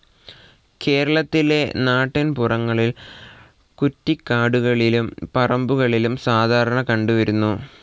കേരളത്തിലെ നാട്ടിൻപുറങ്ങളിൽ കുറ്റിക്കാടുകളിലും പറമ്പുകളിലും സാധാരണ കണ്ടുവരുന്നു.